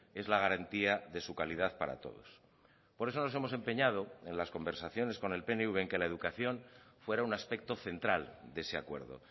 es la garantía de su calidad para todos por eso nos hemos empeñado en las conversaciones con el pnv en que la educación fuera un aspecto central de ese acuerdo